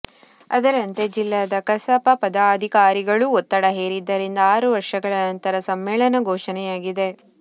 ಅದರಂತೆ ಜಿಲ್ಲಾ ಕಸಾಪ ಪದಾಧಿಕಾರಿಗಳೂ ಒತ್ತಡ ಹೇರಿದ್ದರಿಂದ ಆರು ವರ್ಷಗಳ ನಂತರ ಸಮ್ಮೇಳನ ಘೊಷಣೆಯಾಗಿದೆ